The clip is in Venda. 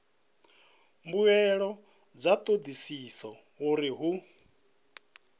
mbuelo dza thodisiso uri hu